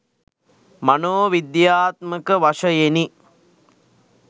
මනෝ විද්‍යාත්මක වශයෙනි.